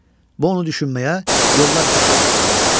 Bu onu düşünməyə, yollar aramağa sövq edir.